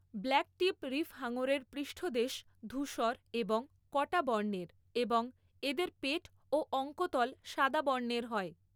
Blacktip reef হাঙরের পৃষ্ঠদেশ ধূসর এবং কটা বর্ণের এবং এদের পেট ও অঙ্কতল সাদা বর্ণের হয়।